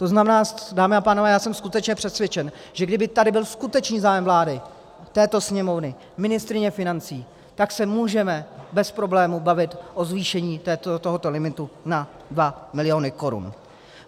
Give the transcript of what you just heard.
To znamená, dámy a pánové, já jsem skutečně přesvědčen, že kdyby tady byl skutečný zájem vlády, této Sněmovny, ministryně financí, tak se můžeme bez problému bavit o zvýšení tohoto limitu na 2 miliony korun.